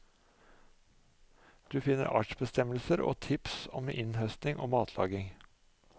Du finner artsbestemmelser og tips om innhøsting og matlaging.